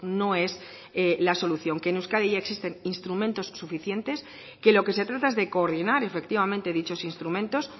no es la solución que en euskadi ya existen instrumentos suficientes que lo que se trata es de coordinar efectivamente dichos instrumentos